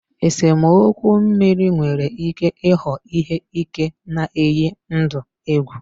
Esemokwu mmiri nwere ike ịghọ ihe ike na-eyi ndụ egwu.